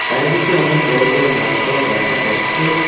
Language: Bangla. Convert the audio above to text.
চারিদিকে অনেক বড় বড় গাছপালা দেখা যাচ্ছে।